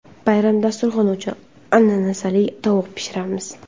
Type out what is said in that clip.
Bayram dasturxoni uchun ananasli tovuq pishiramiz.